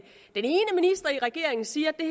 regeringen siger at